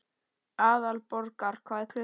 Aðalborgar, hvað er klukkan?